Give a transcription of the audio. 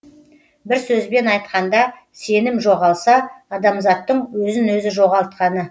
бір сөзбен айтқанда сенім жоғалса адамзаттың өзін өзі жоғалтқаны